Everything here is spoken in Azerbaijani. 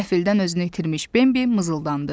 Qəfildən özünü itirmiş Bambi mızıldandı.